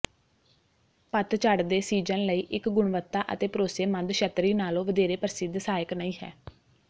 ਪਤਝੜ ਦੇ ਸੀਜ਼ਨ ਲਈ ਇੱਕ ਗੁਣਵੱਤਾ ਅਤੇ ਭਰੋਸੇਮੰਦ ਛੱਤਰੀ ਨਾਲੋਂ ਵਧੇਰੇ ਪ੍ਰਸਿੱਧ ਸਹਾਇਕ ਨਹੀਂ ਹੈ